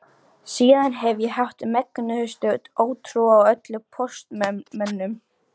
Síðan hef ég haft megnustu ótrú á öllum póstmönnum.